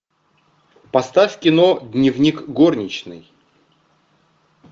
поставь кино дневник горничной